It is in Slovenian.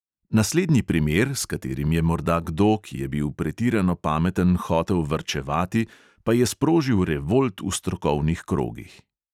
Naslednji primer, s katerim je morda kdo, ki je bil pretirano pameten, hotel varčevati, pa je sprožil revolt v strokovnih krogih.